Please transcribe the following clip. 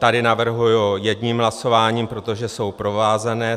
Tady navrhuji jedním hlasováním, protože jsou provázané.